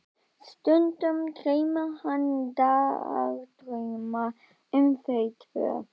Stundum dreymir hana dagdrauma um þau tvö.